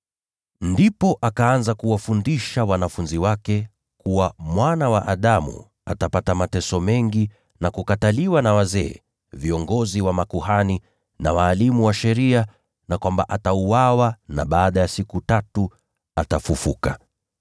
Ndipo akaanza kuwafundisha wanafunzi wake kuwa Mwana wa Adamu lazima atapata mateso mengi na kukataliwa na wazee, viongozi wa makuhani, na walimu wa sheria, na kwamba itampasa auawe lakini baada ya siku tatu afufuke.